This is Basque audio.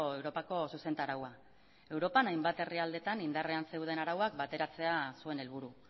europako zuzentaraua europan hainbat herrialdetan indarrean zeuden arauak bateratzea zuen helburu